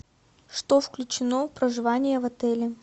что включено в проживание в отеле